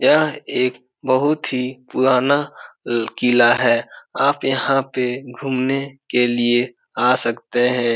यह एक बहुत ही पुराना ल किला है | आप यहाँ पे घूमने के लिए आ सकते हैं ।